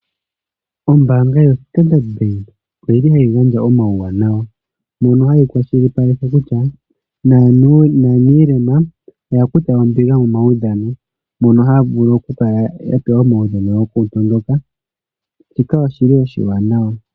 Ombanga yoStandard Bank oyili hayi gandja omawuwanawa mono hayi kwashilipaleke kutya naanilema oya kutha ombinga momawudhano. Mono haya vulu oku kala yapewa omawudhingi goku tondoka. Shika oshili oshiwanawa.